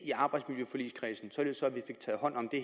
i arbejdsmiljøforligskredsen således at vi fik taget hånd om det